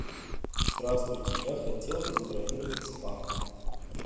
здравствуйте я хотел бы забронировать спа